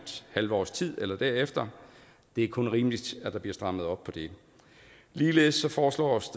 halvt års tid eller derefter det er kun rimeligt at der bliver strammet op på det ligeledes foreslås